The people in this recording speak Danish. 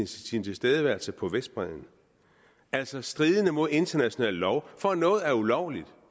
sin tilstedeværelse på vestbredden altså stridende mod international lov for at noget er ulovligt